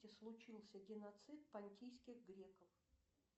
случился геноцид понтийских греков